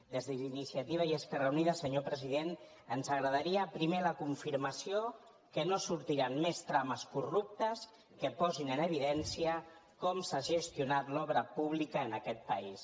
des d’iniciativa i esquerra unida senyor president ens agradaria primer la confirmació que no sortiran més trames corruptes que posin en evidència com s’ha gestionat l’obra pública en aquest país